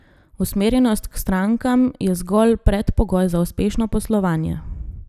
Usmerjenost k strankam je zgolj predpogoj za uspešno poslovanje.